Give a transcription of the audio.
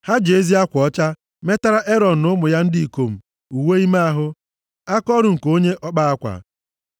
Ha ji ezi akwa ọcha metara Erọn na ụmụ ya ndị ikom, uwe ime ahụ, akaọrụ nke onye ọkpa akwa,